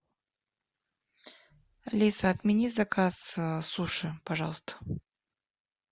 алиса отмени заказ суши пожалуйста